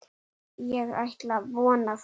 spurði Svenni.